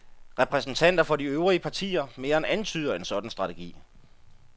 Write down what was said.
Repræsentanter for de øvrige partier mere end antyder en sådan strategi.